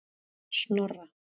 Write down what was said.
Snorra